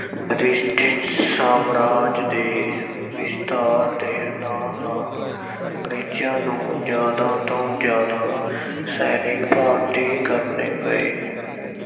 British ਸਾਮਰਾਜ ਦੇ ਵਿਸਥਾਰ ਦੇ ਨਾਲ-ਨਾਲ ਅੰਗਰੇਜ਼ਾਂ ਨੂੰ ਜ਼ਿਆਦਾ ਤੋਂ ਜ਼ਿਆਦਾ ਸੈਨਿਕ ਭਰਤੀ ਕਰਨੇ ਪਏ।